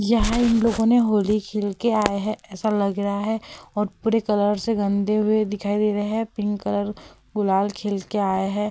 यहाँ इन लोगों ने होली खेल के आये हैं ऐसा लग रहा है और पूरे कलर से गंदे हुए दिखाई दे रहे हैं। पिंक कलर गुलाल खेल के आये हैं।